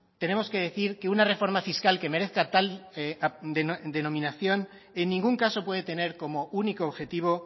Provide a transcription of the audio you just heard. tenemos que decir que una reforma fiscal que merezca tal denominación en ningún caso puede tener como único objetivo